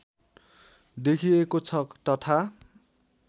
देखिएको छ तथा